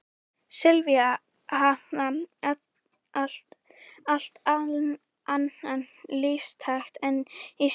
Svíar hafa allt annan lífstakt en Íslendingar.